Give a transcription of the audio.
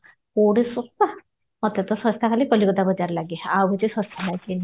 କୋଉଠି ସସ୍ଥା ମତେ ତ ସସ୍ଥା ଖାଲି କଲିକତା ବଜାରଲାଗେ ଆଉ କିଛି ସସ୍ଥା ଲାଗେନି